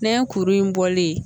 Ne ye kuru in bɔlen ye